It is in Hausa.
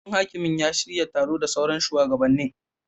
Babban hakimin ya shirya taro da sauran shuwagabannin.